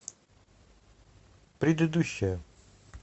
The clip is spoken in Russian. предыдущая